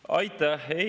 Aitäh!